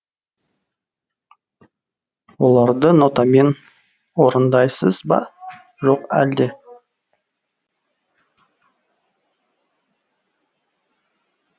оларды нотамен орындайсыз ба жоқ әлде